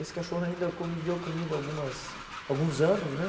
Esse cachorro ainda conviveu comigo algumas alguns anos, né?